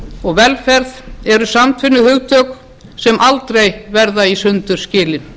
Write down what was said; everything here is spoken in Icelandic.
og velferð eru samtvinnuð hugtök sem aldrei verða í sundur skilin